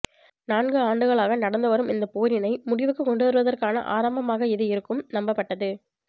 நான்கு ஆண்டுகளாக நடந்து வரும் இந்த போரினை முடிவுக்குக் கொண்டுவருவதற்கான ஆரம்பமாக இது இருக்கும் நம்பப்பட்டது